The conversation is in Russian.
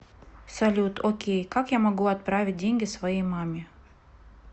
салют окей как я могу отправить деньги своей маме